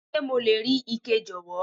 Ṣé mo lè rí ike, jọ̀wọ́?